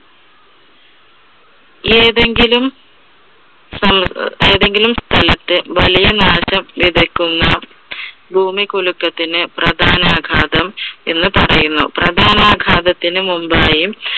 ഏതെങ്കിലും സ്ഥ ഏതെങ്കിലും സ്ഥലത്ത് വലിയ നാശം വിതയ്ക്കുന്ന ഭൂമികുലുക്കത്തിന് പ്രധാനാഘാതം എന്ന് പറയുന്നു. പ്രധാനാഘാതത്തിന് മുൻപായി